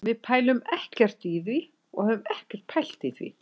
Við pælum ekkert í því og höfum ekkert pælt í því.